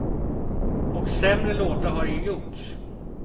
Och sämre låtar har ju gjorts.